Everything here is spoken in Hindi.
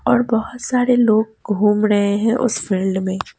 और बोहोत सारे लोग घूम डहे हैं उस फील्ड में--